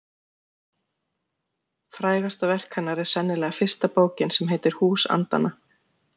Frægasta verk hennar er sennilega fyrsta bókin sem heitir Hús andanna.